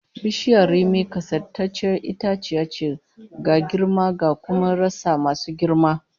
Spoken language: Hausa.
Bishiyar rimi kasaitacciyar itaciya ce, ga girma cda kuma rassa masu girma